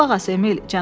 Qulaq as, Emil,